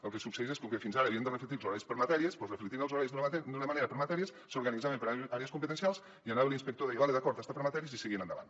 el que succeeix és que com que fins ara havien de reflectir els horaris per matèries doncs reflectint els horaris d’una manera per matèries s’organitzaven per àrees competencials hi anava l’inspector deia val d’acord està per matèries i seguien endavant